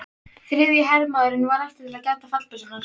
Þriðji hermaðurinn varð eftir til að gæta fallbyssunnar.